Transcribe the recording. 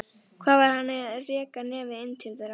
Hvað var hann að reka nefið inn til þeirra?